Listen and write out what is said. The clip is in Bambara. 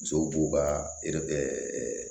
Musow b'u ka